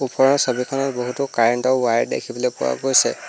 ওপৰৰ ছবিখনত বহুতো কাৰেণ্টৰ ৱায়েৰ দেখিবলৈ পোৱা গৈছে।